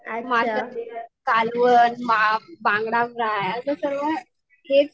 माश्याचे कालवण बांगडा फ्राय असे सर्व हेच